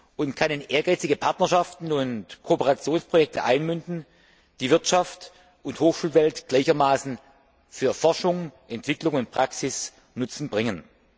und kann in ehrgeizige Partnerschaften und Kooperationsprojekte einmünden, die Wirtschaft und Hochschulwelt gleichermaßen für Forschung, Entwicklung und Praxis Nutzen bringen.